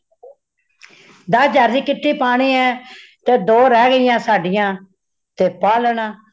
ਦਸ ਹਜਾਰ ਦੀ kitty ਪਾਣੀ ਹ , ਤੇ ਦੋ ਰਹੇ ਗਈਆਂ ਸਾਡੀਆਂ ਤੇ ਪਾ ਲੈਣਾ